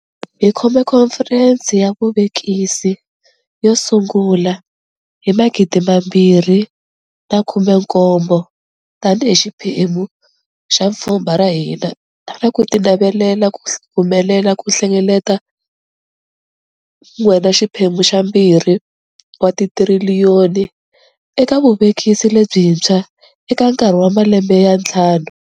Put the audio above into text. Hi khome Khomferense ya Vuvekisi yo sungula hi 2018 tanihi xiphemu xa pfhumba ra hina ra ku tinavelela ku humelela ku hlengeleta R1.2 wa tithiriliyoni eka vuvekisi lebyintshwa eka nkarhi wa malembe ya ntlhanu.